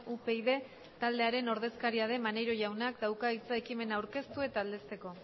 upyd taldearen ordezkaria den maneiro jaunak dauka hitza ekimena aurkeztu eta aldezteko